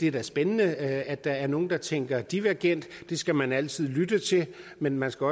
er spændende at der er nogle der tænker divergent det skal man altid lytte til men man skal